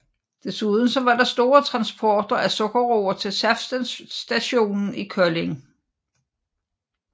Desuden var der store transporter af sukkerroer til saftstationen i Kolding